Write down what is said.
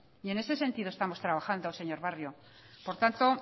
en ese sentido estamos trabajando señor barrio por tanto